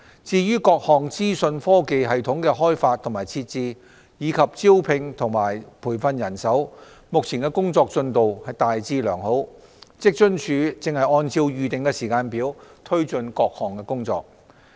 至於各項資訊科技系統的開發及設置，以及招聘和培訓人手，目前的工作進度大致良好，職津處正按照預定的時間表推進各項工作。